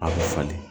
A bɛ falen